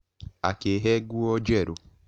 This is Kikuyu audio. Akĩhe nguo njerũ.